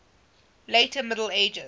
later middle ages